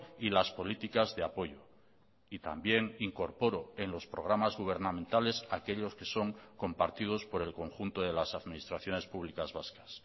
y las políticas de apoyo y también incorporo en los programas gubernamentales aquellos que son compartidos por el conjunto de las administraciones públicas vascas